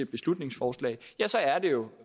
beslutningsforslag er det jo